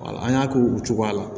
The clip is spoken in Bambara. Wala an y'a k'o cogoya la